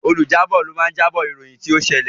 Olùjábọ̀ ni o máa ń jábọ̀ ìròyìn tí o ṣẹlẹ̀.